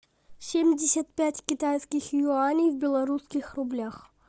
семьдесят пять китайских юаней в белорусских рублях